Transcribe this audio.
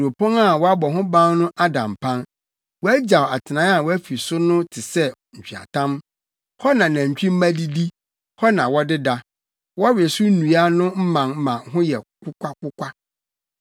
Kuropɔn a wɔabɔ ho ban no ada mpan wɔagyaw atenae a wɔafi so no te sɛ nweatam hɔ na nantwimma didi, hɔ na wɔdeda; wɔwe so nnua no mman ma ho yɛ kokwakokwa.